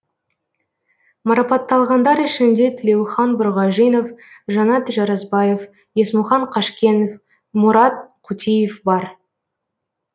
марапатталғандар ішінде тілеухан бұрғажинов жанат жарасбаев есмұхан қажкенов мұрат қутеев бар